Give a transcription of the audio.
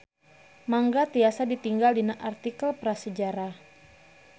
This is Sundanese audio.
Mangga tiasa ditingal dina artikel Prasajarah.